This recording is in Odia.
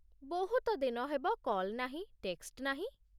ବହୁତ ଦିନ ହେବ କଲ୍ ନାହିଁ, ଟେକ୍ସଟ୍ ନାହିଁ ।